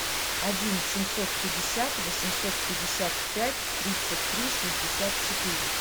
один семьсот пятьдесят восемьсот пятьдесят пять тридцать три шестьдесят четыре